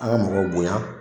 An ka mɔgɔw bonya